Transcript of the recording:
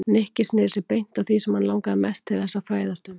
Nikki snéri sér beint að því sem hann langaði mest til þess að fræðast um.